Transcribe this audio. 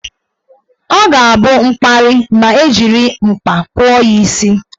Ọ ga-abụ mkparị ma ejiri mkpa kpụọ ya isi.